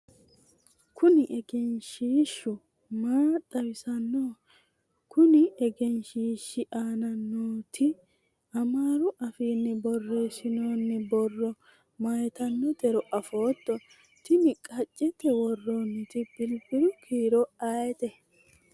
kuni egenshiishshu maa xawinsoonniho? konni egenshiishshi aana nooti amaaru afiinni borreessinoonni borro mayiitannotero afootto? tini qaccete worroonniti bilbilu kiiro ayeete?